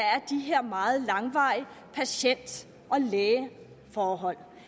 er de meget langvarige patient læge forhold